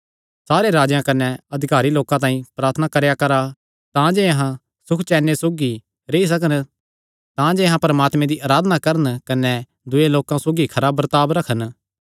सारे राजेयां कने अधिकारी लोकां तांई प्रार्थना करेया करा तांजे अहां सुखचैन सौगी रेई सकन तांजे अहां परमात्मे दी अराधना करन कने दूये लोकां सौगी खरा बर्ताब रखन